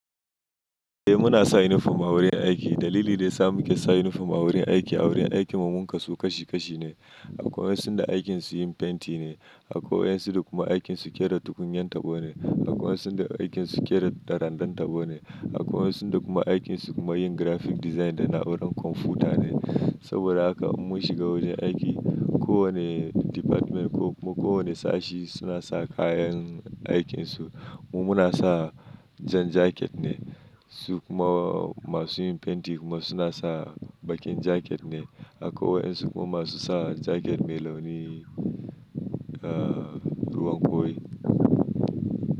Eh muna sa uniform a wurin aiki. Dalili da yasa muke sa uniform a wurin aiki, a wurin aikin mu mun kasu kashi kashi ne. Akwai waɗanda aikin su yin fenti ne, akwai wayansu kuma aikin su ƙera tukunyan tabo ne, akwai wayansuaikin su ƙera ɗarandan tabo ne, akwai waɗanda kuma aikin su kuma yin graphic design da na wurin kwamfuta ne. Saboda haka mun shiga wurin aiki, kowani dipatment ko kuma kowani sashi suna sa kayan aikinsu. Mu muna sa jan jaket ne, su kuma masu yin fenti kuma suna sa baƙin jaket ne. Akwai waɗansu kuma masu sa jaket mai launin, ah, ruwan ƙoi.